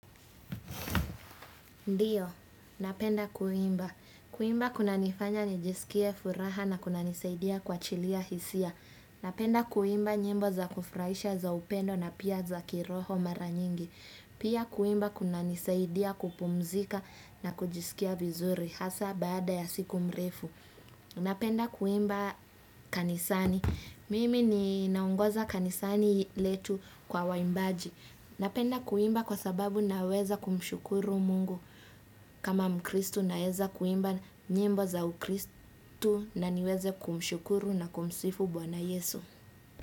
Ndiyo, napenda kuimba. Kuimba kunanifanya nijisikie furaha na kunanisaidia kuachilia hisia. Napenda kuimba nyimbo za kufurahisha za upendo na pia za kiroho mara nyingi. Pia kuimba kuna nisaidia kupumzika na kujisikia vizuri. Hasa baada ya siku mrefu. Napenda kuimba kanisani. Mimi ninaongoza kanisani letu kwa waimbaji. Napenda kuimba kwa sababu naweza kumshukuru mungu. Kama mkristo naeza kuimba nyimbo za ukristu na niweze kumshukuru na kumsifu bwana yesu.